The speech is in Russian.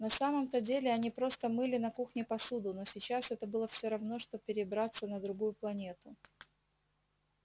на самом-то деле они просто мыли на кухне посуду но сейчас это было всё равно что перебраться на другую планету